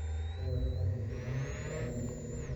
Tiknoolajiyadu waxay hagaajisaa waxtarka adeegga.